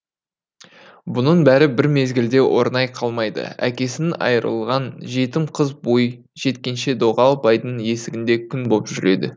бұның бәрі бір мезгілде орнай қалмайды әкесін айырылған жетім қыз бой жеткенше доғал байдың есігінде күң боп жүреді